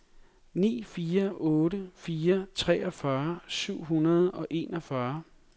ni fire otte fire treogfyrre syv hundrede og enogfyrre